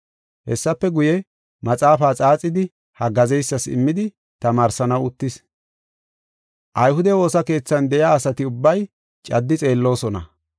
Hessafe guye, maxaafaa xaaxidi haggaazeysas immidi tamaarsanaw uttis. Ayhude woosa keethan de7iya asati ubbay caddi xeelloosona.